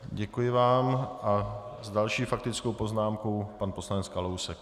Děkuji vám a s další faktickou poznámkou pan poslanec Kalousek.